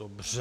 Dobře.